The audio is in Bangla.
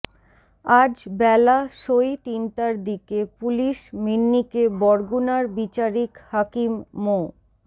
আজ বেলা সোয় তিনটার দিকে পুলিশ মিন্নিকে বরগুনার বিচারিক হাকিম মো